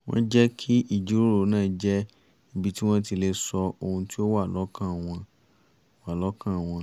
wọ́n jẹ́ kí ìjíròrò náà jẹ́ ibi tí wọ́n ti lè sọ ohun tí ó wà lọ́kàn wọ́n wà lọ́kàn wọ́n